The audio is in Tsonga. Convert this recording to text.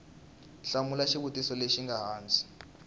hlamula xivutiso lexi nga hansi